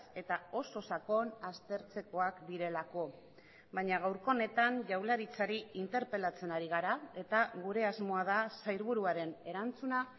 eta oso sakon aztertzekoak direlako baina gaurko honetan jaurlaritzari interpelatzen ari gara eta gure asmoa da sailburuaren erantzuna